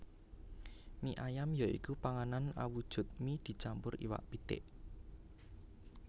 Mie ayam ya iku panganan awujud mie dicampur iwak pitik